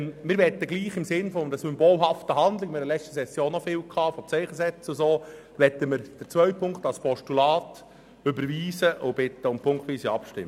Wir möchten trotzdem, im Sinne eines symbolhaften Handelns, wie dies in anderen Sessionen der Fall war, als man verschiedentlich ein Zeichen setzen wollte, den zweiten Punkt als Postulat überweisen und bitten um punktweise Abstimmung.